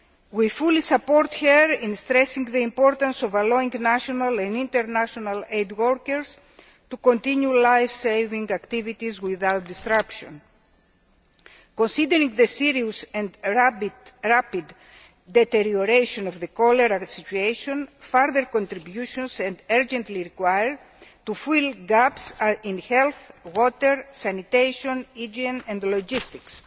We fully support her in stressing the importance of allowing national and international aid workers to continue lifesaving activities without disruption. Considering the serious and rapid deterioration of the cholera situation, further contributions are urgently required to fill gaps in health, water, sanitation, hygiene and logistics.